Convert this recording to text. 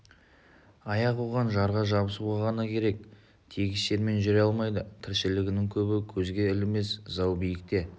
аяқ оған жарға жабысуға ғана керек тегіс жермен жүре алмайды тіршілігінің көбі көзге ілінбес зау биікте